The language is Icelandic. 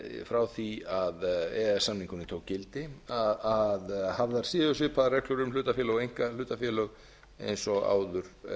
frá því að e e s samningurinn tók gildi að hafðar séu svipaðar reglur um hlutafélög og einkahlutafélög eins og áður